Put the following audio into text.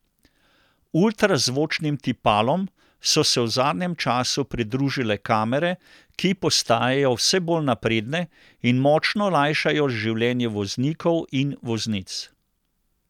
Ultrazvočnim tipalom so se v zadnjem času pridružile kamere, ki postajajo vse bolj napredne in močno lajšajo življenje voznikov in voznic.